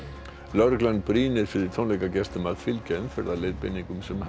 lögreglan brýnir fyrir tónleikagestum að fylgja umferðarleiðbeiningum sem